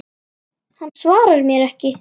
Hann svarar mér ekki.